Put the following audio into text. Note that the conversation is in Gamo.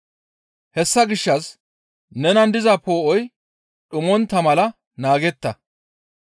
Hessa gishshas nenan diza poo7oy dhumontta mala naagetta.